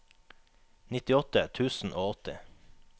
nittiåtte tusen og åtti